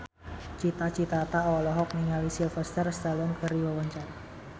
Cita Citata olohok ningali Sylvester Stallone keur diwawancara